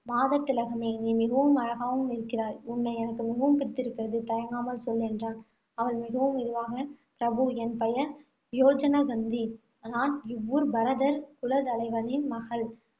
மாதர் திலகமே நீ மிகவும் அழகாகவும் இருக்கிறாய். உன்னை எனக்கு மிகவும் பிடித்திருக்கிறது. தயங்காமல் சொல், என்றான். அவள் மிகவும் மெதுவாக, பிரபு என் பெயர் யோஜனகந்தி. நான் இவ்வூர் பரதர் குல தலைவனின் மகள்.